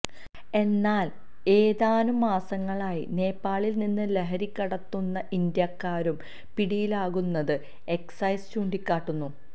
എന്നാൽ ഏതാനും മാസങ്ങളായി നേപ്പാളിൽ നിന്ന് ലഹരികടത്തുന്ന ഇന്ത്യക്കാരും പിടിയിലാകുന്നത് എക്സൈസ് ചൂണ്ടിക്കാട്ടുന്നു